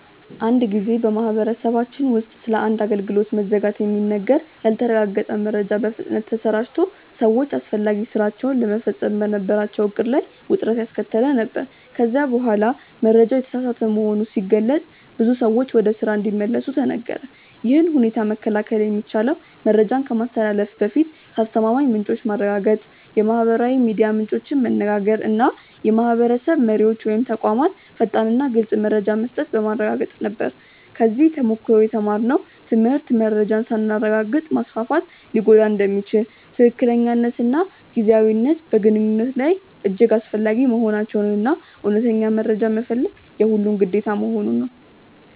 አንድ ጊዜ በማህበረሰባችን ውስጥ ስለ አንድ አገልግሎት መዘጋት የሚነገር ያልተረጋገጠ መረጃ በፍጥነት ተሰራጭቶ ሰዎች አስፈላጊ ሥራቸውን ለመፈጸም በነበራቸው ዕቅድ ላይ ውጥረት ያስከተለ ነበር፤ ከዚያ በኋላ መረጃው የተሳሳተ መሆኑ ሲገለጥ ብዙ ሰዎች ወደ ስራ እንዲመለሱ ተነገረ። ይህን ሁኔታ መከላከል የሚቻለው መረጃን ከማስተላለፍ በፊት ከአስተማማኝ ምንጮች ማረጋገጥ፣ የማህበራዊ ሚዲያ ምንጮችን መነጋገር እና የማህበረሰብ መሪዎች ወይም ተቋማት ፈጣንና ግልፅ መረጃ መስጠት በማረጋገጥ ነበር። ከዚህ ተሞክሮ የተማርነው ትምህርት መረጃን ሳናረጋግጥ ማስፋፋት ሊጎዳ እንደሚችል፣ ትክክለኛነትና ጊዜያዊነት በግንኙነት ላይ እጅግ አስፈላጊ መሆናቸውን እና እውነተኛ መረጃ መፈለግ የሁሉም ግዴታ መሆኑን ነው።